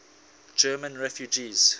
german refugees